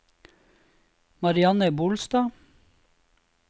Marianne Bolstad